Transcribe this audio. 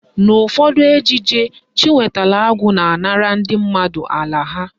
N'ụfọdụ ejije, Chinwetalụ Agụ na-anara ndị mmadụ ala ha.